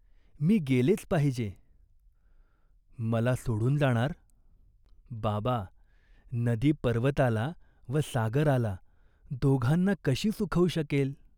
मी गेलेच पाहिजे." "मला सोडून जाणार?" "बाबा, नदी पर्वताला व सागराला दोघांना कशी सुखवू शकेल?